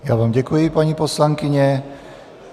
Já vám děkuji, paní poslankyně.